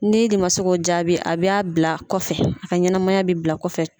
Ni e de ma se k'o jaabi a be a bila kɔfɛ, a ka ɲɛnamaya bi bila kɔfɛ.